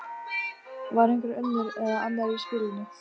Var einhver önnur eða annar í spilinu?